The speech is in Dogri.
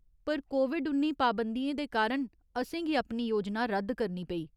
पर कोविड उन्नी पाबंदियें दे कारण असेंगी अपनी योजना रद्द करनी पेई।